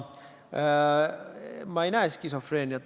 Ma ei näe skisofreeniat.